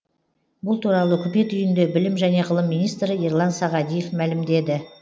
бұл туралы үкімет үйінде білім және ғылым министрі ерлан сағадиев мәлімдеді